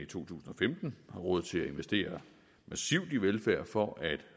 tusind og femten har råd til at investere massivt i velfærd for at